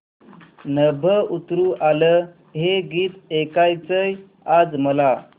नभं उतरू आलं हे गीत ऐकायचंय आज मला